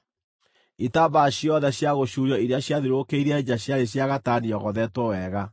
Itambaya ciothe cia gũcuurio iria ciathiũrũrũkĩirie nja ciarĩ cia gatani yogothetwo wega.